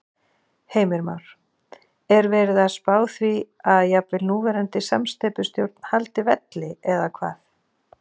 Heimir Már: Er verið að spá því að jafnvel núverandi samsteypustjórn haldi velli eða hvað?